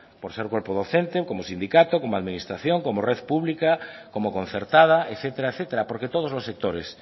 por ser cuerpo docente como sindicatos como administración como red pública como concertada etcétera etcétera porque todos los sectores